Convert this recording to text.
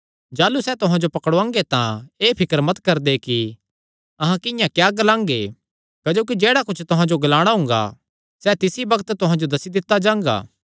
जाह़लू सैह़ तुहां जो पकड़ुआंगे तां एह़ फिकर मत करदे कि अहां किंआं क्या ग्लांगे क्जोकि जेह्ड़ा कुच्छ तुहां जो ग्लाणा हुंगा सैह़ तिसी बग्त तुहां जो दस्सी दित्ता जांगा